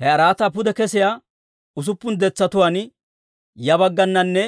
He araataa pude kesiyaa usuppun detsatuwaan ya baggananne